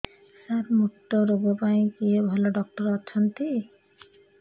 ସାର ମୁତ୍ରରୋଗ ପାଇଁ କିଏ ଭଲ ଡକ୍ଟର ଅଛନ୍ତି